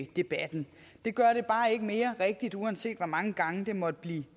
debatten det gør det bare ikke mere rigtigt uanset hvor mange gange det måtte blive